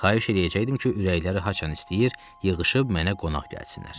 Xahiş eləyəcəkdim ki, ürəkləri haçan istəyir, yığışıb mənə qonaq gəlsinlər.